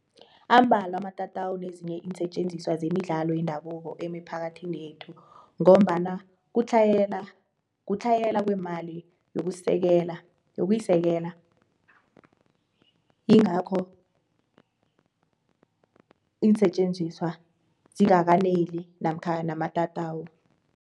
Ambalwa amatatawu nezinye iinsetjenziswa zemidlalo yendabuko emiphakathini yekhethu ngombana kutlhayela kweemali yokusekela yokuyisekela, ingakho iinsetjenziswa zingakaneli namkha amatatawu.